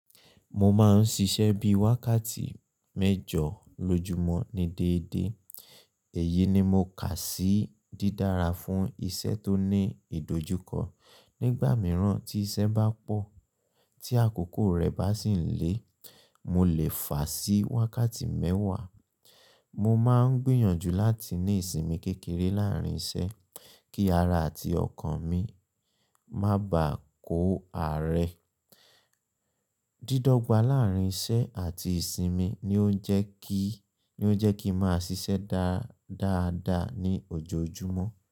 Mo máa ń ṣiṣẹ́ bí i wákàtí mẹ́jọ lójúmọ́ ní déédéé. Èyi ni mo kà sí dídára fún iṣẹ́ tó ní ìdojúkọ. Nígbà mìíràn tí iṣẹ́ bá pọ̀, tí àkókò rẹ̀ bá sì ń le, mo lè fàá sí wákàtí mẹ́wàá. Mo máa ń gbìyànjú láti ní ìsinmi kékeré láàárín iṣẹ́ kí ara àti ọkàn mi má bàa kó àárẹ̀. Dídọ́gba láàárín iṣẹ́ àti ìsinmi ni ó ń jẹ́ kí, ni ó jẹ́ kí n máa ṣiṣẹ́ dáá dáadáa ní ojoojúmọ́